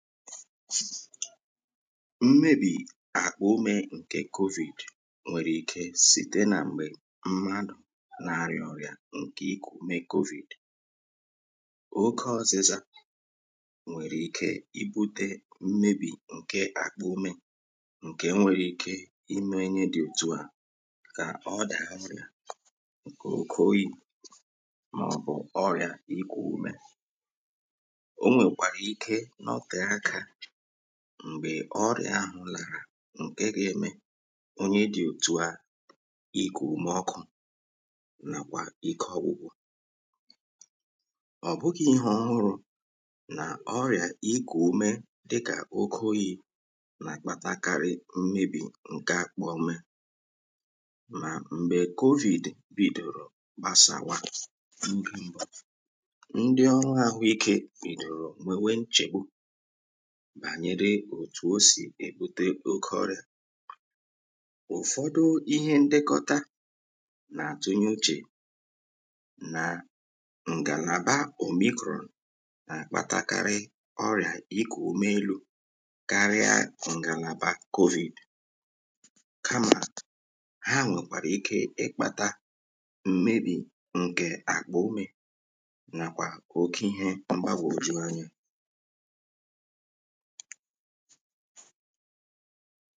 mmebì àkpà umė nkè covid nwèrè ike site nà m̀gbè mmadụ̀ na-arịà ọrịà ǹkè ikù ume covid oke ọzịza nwèrè ike ibutė mmebì ǹke àkpà umė ǹkè nwèrè ike imė enye dị̇ òtù à kà ọrịà ǹkè oyi̇ màọbụ̀ ọrịà ikù ume m̀gbè ọrịà ahụ̀ làrà ǹke ga-eme onye dị̀ òtùa ikù ume ọkụ̇ nàkwà ike ọgwụgwọ̀ ọ̀bụgị̇ ihe ọhụrụ̇ nà ọrịà ikù ume dịkà oke oyi̇ nà-akpatakarị mmebì ǹke akpọ̇ mee mà m̀gbè covid bìdòrò gbasàwa ndị mbọ̀ ndị ọrụ àhụ ikė bìdòrò nwènwe nchègbu bànyere òtù osì èbute oke ọrị̀à ụ̀fọdụ ihe ndekọta nà-àtụnyuchè nà ǹgàlàba òmikrò nà àkpatakarị ọrị̀à ikù ume elu̇ karịa ǹgàlàbà covid kamà ha nwèkwàrà ike ịkpata mmebì ǹkè àkpà umė nàkwà oke ihė mgbagwò juru anya ha